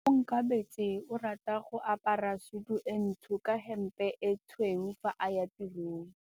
Onkabetse o rata go apara sutu e ntsho ka hempe e tshweu fa a ya tirong.